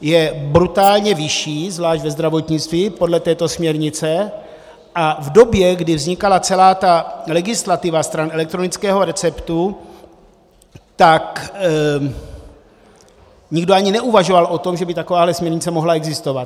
je brutálně vyšší, zvlášť ve zdravotnictví, podle této směrnice, a v době, kdy vznikala celá ta legislativa stran elektronického receptu, tak nikdo ani neuvažoval o tom, že by takováto směrnice mohla existovat.